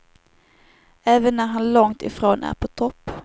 Även när han långt ifrån är på topp.